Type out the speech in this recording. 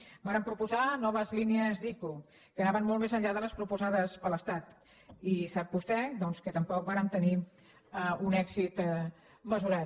vàrem proposar noves línies d’ico que anaven molt més enllà de les proposades per l’estat i sap vostè doncs que tampoc vàrem tenir un èxit mesurat